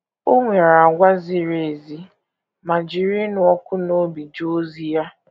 O nwere àgwà ziri ezi ma jiri ịnụ ọkụ n’obi jee ozi ya.